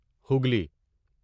Hooghly